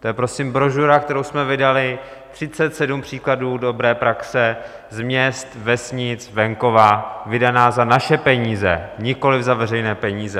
To je prosím brožura, kterou jsme vydali . 37 příkladů dobré praxe z měst, vesnic, venkova, vydaná za naše peníze, nikoliv za veřejné peníze.